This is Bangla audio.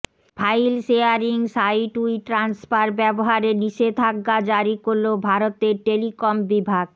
ফাইল শেয়ারিং সাইট উইট্রান্সফার ব্যবহারে নিষেধাজ্ঞা জারি করল ভারতের টেলিকম বিভাগ